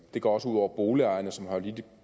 det går også ud over boligejerne som har lidt et